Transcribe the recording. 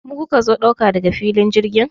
Mu kuka zo ɗauka daga filin jirgin?